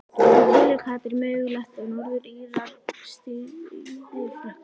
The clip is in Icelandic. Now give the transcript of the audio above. En telur Katrín mögulegt að Norður Írar stríði Frökkum?